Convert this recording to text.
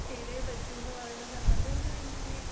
ചെയ്തേപറ്റൂന്ന് പറയുന്നത് അതൊരു എനിക്ക്